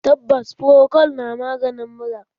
Tabbas, frokol na maganin mura